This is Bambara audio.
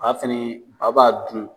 A fɛnɛ aw b'a dun.